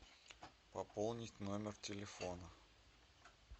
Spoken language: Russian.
пополнить номер телефона